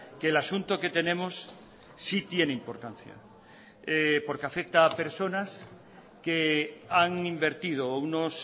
que el asunto que tenemos sí tiene importancia porque afecta a personas que han invertido unos